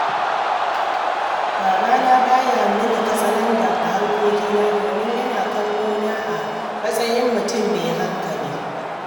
Babana ba ya yi mini katsalandan a harkokina domin yana kallo na a matsayin mutum mai hankali